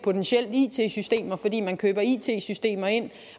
it systemer fordi man køber it systemer ind